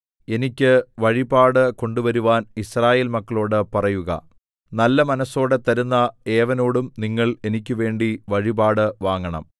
എനിക്ക് വഴിപാട് കൊണ്ടുവരുവാൻ യിസ്രായേൽ മക്കളോട് പറയുക നല്ല മനസ്സോടെ തരുന്ന ഏവനോടും നിങ്ങൾ എനിക്കുവേണ്ടി വഴിപാട് വാങ്ങണം